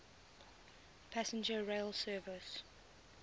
passenger rail service